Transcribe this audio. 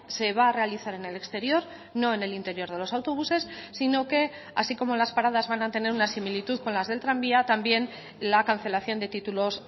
se va a realizar en el exterior no en el interior de los autobuses sino que así como las paradas van a tener una similitud con las del tranvía también la cancelación de títulos